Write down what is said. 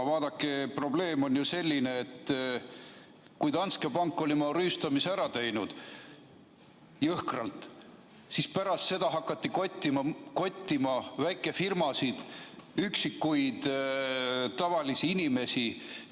Vaadake, probleem on selles, et kui Danske Bank oli oma rüüstamise jõhkralt ära teinud, siis pärast seda hakati kottima väikefirmasid, tavalisi inimesi.